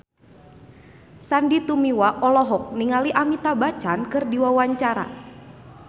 Sandy Tumiwa olohok ningali Amitabh Bachchan keur diwawancara